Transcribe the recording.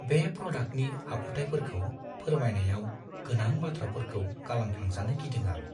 बे प्रडाक्टनि आखुथायफोरखौ फोरमायनायाव गोनां बाथ्राफोरखौ गालांफ्लांजानो गिदों आं।